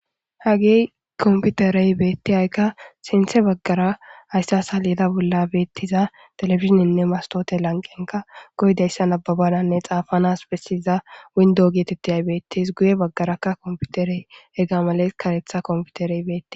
hagey komputerey beettiyaykka sinthe baggara haysse asalida bolla beettiza telefizininne mastote lanqenka goydayssan ababadanne xaafanas bessiza windo geetetteyay beettes guye baggarakka komputerey eggamales karetha komputerey beettes